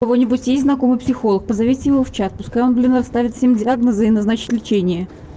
у кого-нибудь есть знакомый психолог позовите его в чат пускай он блин расставит всем диагнозы и назначит лечение